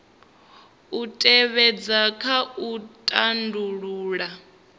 u tevhedzwa kha u tandulula